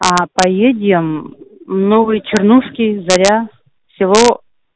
аа поедем мм в новые чернушки заря село